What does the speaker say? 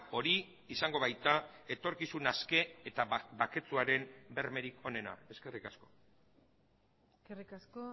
hori izango baita etorkizun aske eta baketsuaren bermerik onena eskerrik asko eskerrik asko